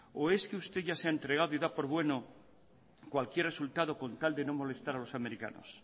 o es que usted ya se ha entregado y da por bueno cualquier resultado con tal de no molestar a los americanos